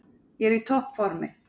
Ég er í toppformi.